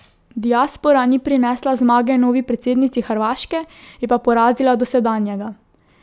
Diaspora ni prinesla zmage novi predsednici Hrvaške, je pa porazila dosedanjega.